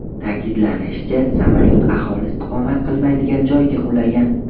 Ta’kidlanishicha, samolyot aholi istiqomat qilmaydigan joyga qulagan.